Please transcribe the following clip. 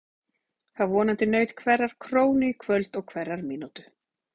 Það vonandi naut hverrar krónu í kvöld og hverrar mínútu.